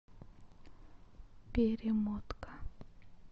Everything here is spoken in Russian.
перемотка